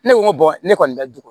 Ne ko n ko ne kɔni bɛ dugu